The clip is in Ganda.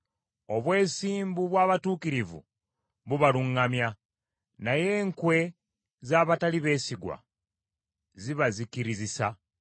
Obwesimbu bw’abatuukirivu bubaluŋŋamya, naye enkwe z’abatali beesigwa zibazikirizisa.